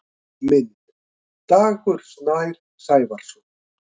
Mynd: Dagur Snær Sævarsson.